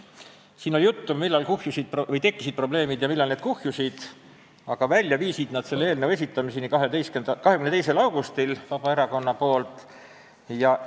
Siin oli juttu, millal tekkisid probleemid ja millal need kuhjusid, aga välja viisid need selleni, et 22. augustil esitas Vabaerakond selle eelnõu.